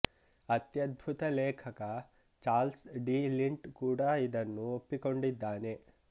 ಅತ್ಯದ್ಭುತ ಲೇಖಕ Charles de Lint ಕೂಡ ಇದನ್ನು ಒಪ್ಪಿಕೊಂಡಿದ್ದಾನೆ